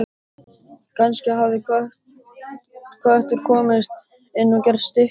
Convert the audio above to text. Kannski hafði köttur komist inn og gert stykki sín.